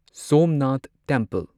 Somnath temple